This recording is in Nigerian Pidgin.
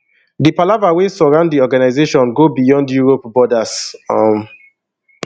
di palava wey surround di organisation go beyond europe borders um